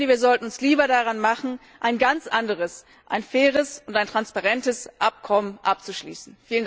Wir sollten uns lieber daran machen, ein ganz anderes, ein faires und ein transparentes Abkommen abzuschließen.